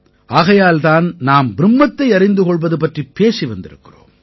ஆகையால் தான் நாம் பிரும்மத்தை அறிந்து கொள்வது பற்றிப் பேசி வந்திருக்கிறோம்